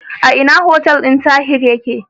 A ina hotel din Tahir yake?